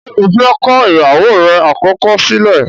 ṣe ọ fè kọ ìyàwó rẹ̀ àkọ́kọ́ sílẹ̀?